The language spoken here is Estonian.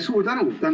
Suur tänu!